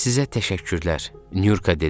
Sizə təşəkkürlər, Nurka dedi.